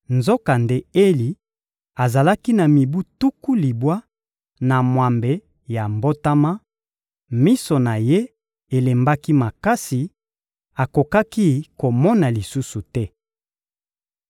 Nzokande Eli azalaki na mibu tuku libwa na mwambe ya mbotama; miso na ye elembaki makasi, akokaki komona lisusu te.